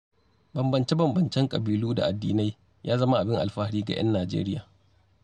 Bambance-bambancen ƙabilu da addinai, ya zama abin alfahari ga 'yan Nijeriya.